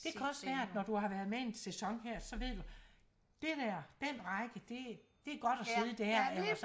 Det kan også være at når du har været med en sæson her så ved du dét der den række det det er godt at sidde dér og så